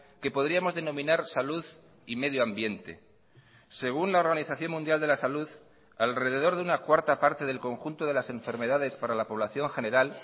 que podríamos denominar salud y medio ambiente según la organización mundial de la salud alrededor de una cuarta parte del conjunto de las enfermedades para la población general